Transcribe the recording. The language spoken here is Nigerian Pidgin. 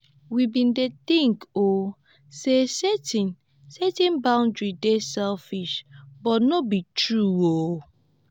we bin dey tink oo sey setting setting boundaries dey selfish but no be true oo.